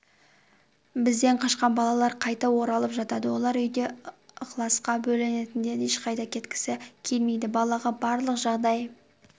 бізден қашқан балалар қайта оралып жатады олар үйде ықыласқа бөлінетіндіктен ешқайда кеткісі келмейді балаға барлық жағдай